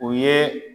O ye